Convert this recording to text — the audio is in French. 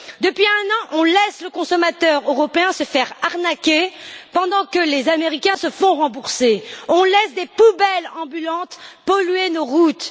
Depuis un an, on laisse le consommateur européen se faire arnaquer pendant que les Américains se font rembourser, on laisse des poubelles ambulantes polluer nos routes.